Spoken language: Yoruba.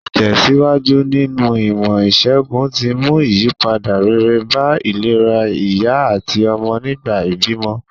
Ìtèsíwájú nínu ìmò ìsègùn ti mú ìyípadà rere bá ìlera ìyá àtí ọmọ nìgbà ìbímọ